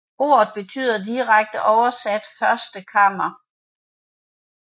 Ordet betyder direkte oversat første kammer